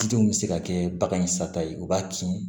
Denw bɛ se ka kɛ bagan in sata ye u b'a kin